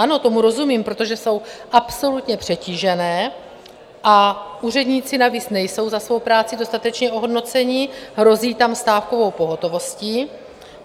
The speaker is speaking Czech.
Ano, tomu rozumím, protože jsou absolutně přetížené a úředníci navíc nejsou za svoji práci dostatečně ohodnoceni, hrozí tam stávkovou pohotovostí.